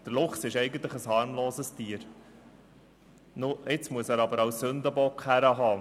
Der Luchs ist ein harmloses Tier und muss jetzt als Sündenbock herhalten.